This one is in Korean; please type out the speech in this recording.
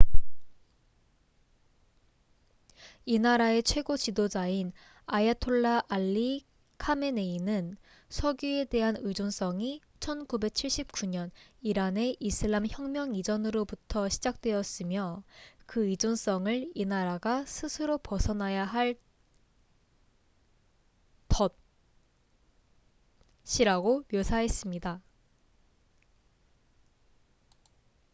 "이 나라의 최고 지도자인 아야톨라 알리 카메네이는 석유에 대한 의존성이 1979년 이란의 이슬람 혁명 이전부터 시작되었으며 그 의존성을 이 나라가 스스로 벗어나야 할 "덫""이라고 묘사했습니다.